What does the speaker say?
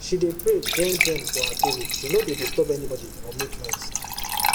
she dey pray gen gen for her table she no dey disturb anybody or make noise